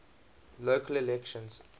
local elections